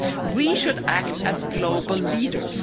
We should act as global leaders.